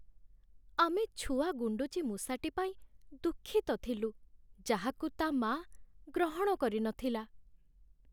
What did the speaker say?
ଆମେ ଛୁଆ ଗୁଣ୍ଡୁଚି ମୂଷାଟି ପାଇଁ ଦୁଃଖିତ ଥିଲୁ ଯାହାକୁ ତା' ମାଆ ଗ୍ରହଣ କରିନଥିଲା।